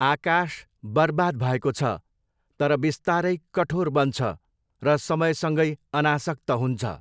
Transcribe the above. आकाश बरबाद भएको छ तर बिस्तारै कठोर बन्छ र समयसँगै अनासक्त हुन्छ।